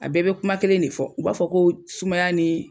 A bɛɛ bɛ kuma kelen de fɔ, u b'a fɔ ko sumaya ni